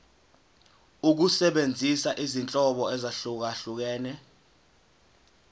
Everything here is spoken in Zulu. ukusebenzisa izinhlobo ezahlukehlukene